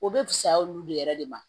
O be fisaya olu de yɛrɛ de ma